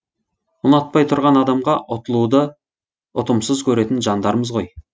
ұнатпай тұрған адамға ұтылуды ұтымсыз көретін жандармыз ғой